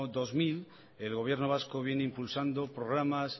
dos mil el gobierno vasco viene impulsando programas